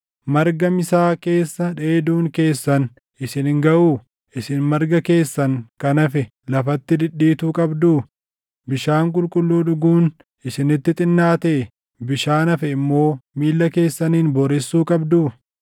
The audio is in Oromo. Marga misaa keessa dheeduun keessan isin hin gaʼuu? Isin marga keessan kan hafe lafatti dhidhiituu qabduu? Bishaan qulqulluu dhuguun isinitti xinnaatee? Bishaan hafe immoo miilla keessaniin booressuu qabduu?